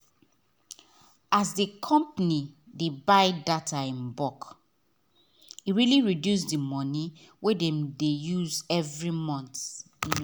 as the company buy data in bulk e really reduce the money wey dem dey use every month